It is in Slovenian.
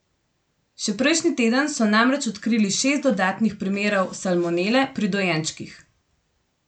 Še prejšnji teden so namreč odkrili šest dodatnih primerov salmonele pri dojenčkih.